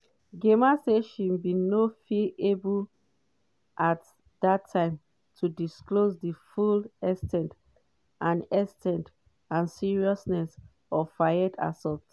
gemma say she bin no feel able at dat time to disclose di full ex ten t and ex ten t and seriousness of fayed assaults.